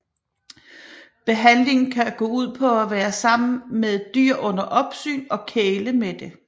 Behandlingen kan gå ud på at være sammen med et dyr under opsyn og kæle med det